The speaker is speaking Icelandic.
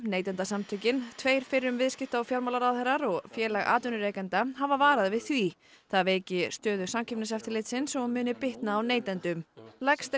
Neytendasamtökin tveir fyrrum viðskipta og fjármálaráðherrar og Félag atvinnurekenda hafa varað við því það veiki stöðu Samkeppniseftirlitsins og muni bitna á neytendum lagst